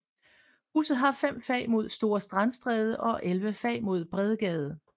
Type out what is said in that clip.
Huset har fem fag mod Store Strandstræde og elleve fag mod Bredgade